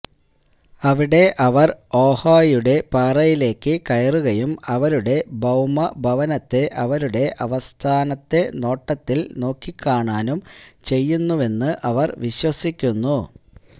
അവിടെ അവർ ഓഹായുടെ പാറയിലേക്ക് കയറുകയും അവരുടെ ഭൌമ ഭവനത്തെ അവരുടെ അവസാനത്തെ നോട്ടത്തിൽ നോക്കിക്കാണുകയും ചെയ്യുന്നുവെന്ന് അവർ വിശ്വസിക്കുന്നു